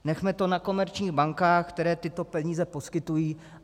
Nechme to na komerčních bankách, které tyto peníze poskytují.